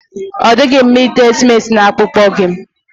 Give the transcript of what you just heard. Ọ dịghị mma ite simenti na akpụkpọ gị.